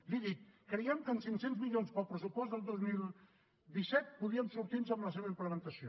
li he dit creiem que amb cinc cents milions per al pressupost del dos mil disset podríem sortir nos amb la seva implementació